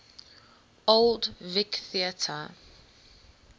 old vic theatre